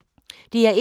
DR1